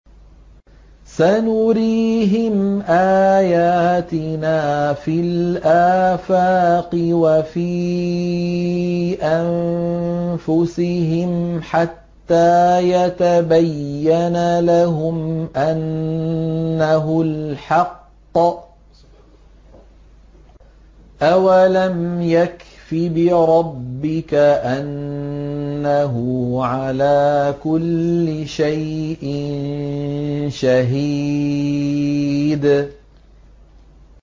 سَنُرِيهِمْ آيَاتِنَا فِي الْآفَاقِ وَفِي أَنفُسِهِمْ حَتَّىٰ يَتَبَيَّنَ لَهُمْ أَنَّهُ الْحَقُّ ۗ أَوَلَمْ يَكْفِ بِرَبِّكَ أَنَّهُ عَلَىٰ كُلِّ شَيْءٍ شَهِيدٌ